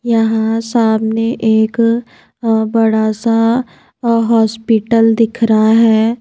यहाँ सामने एक अ बड़ा सा अ हॉस्पिटल दिख रहा है।